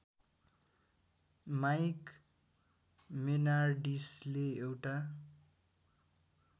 mic मेनार्डिसले एउटा